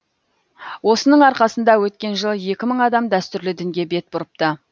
осының арқасында өткен жылы екі мың адам дәстүрлі дінге бет бұрыпты